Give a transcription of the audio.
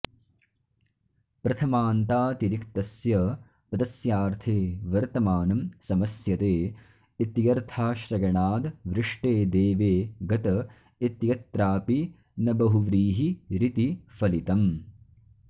प्रथमान्तातिरिक्तस्य पदस्यार्थे वर्तमानं समस्यते इत्यर्थाश्रयणाद्वृष्टे देवे गत इत्यत्रापि न बहुव्रीहिरिति फलितम्